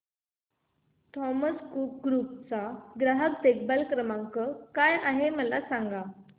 Thomas Cook group चा ग्राहक देखभाल नंबर काय आहे मला सांगा